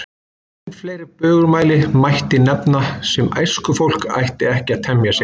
Enn fleiri bögumæli mætti nefna, sem æskufólk ætti ekki að temja sér.